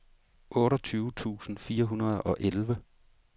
otteogtyve tusind fire hundrede og elleve